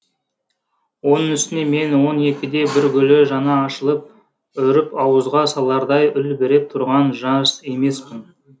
оның үстіне мен он екіде бір гүлі жаңа ашылып үріп ауызға салардай үлбіреп тұрған жас емеспін